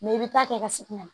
Mɛ i bɛ taa kɛ ka segin kana